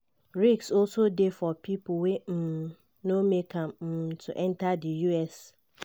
risks also dey for pipo wey um no make am um to enta di us.